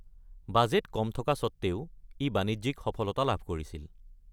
Budget কম থকা স্বত্ত্বেও ই বাণিজ্যিক সফলতা লাভ কৰিছিল।